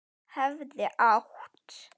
Hefði átt